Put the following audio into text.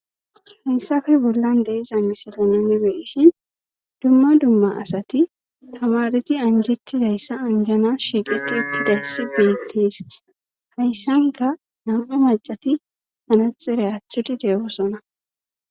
heysafe bollan deeza misilanenibeishin dumma dumma asati tamareti anjetidayssa anjana shiiqeqqi uttidayssi beettees hayssanka nam7e macati anaxire achthidi degosona